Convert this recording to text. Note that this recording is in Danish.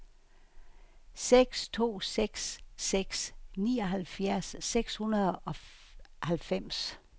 seks to seks seks nioghalvfjerds seks hundrede og halvfems